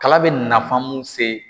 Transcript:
Kala bɛ nafan mun se